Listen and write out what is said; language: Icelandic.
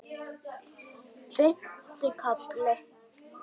Fimmti kafli